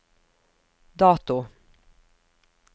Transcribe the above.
dato